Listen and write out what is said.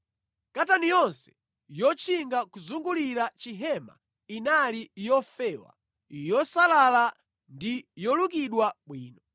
Katani yonse yotchinga kuzungulira chihema inali yofewa, yosalala ndi yolukidwa bwino.